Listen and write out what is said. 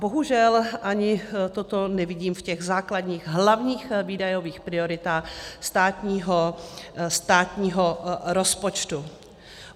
Bohužel, ani toto nevidím v těch základních hlavních výdajových prioritách státního rozpočtu.